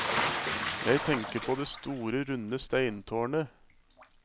Jeg tenker på det store runde steintårnet.